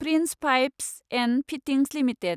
prince Pipes and Fittings limited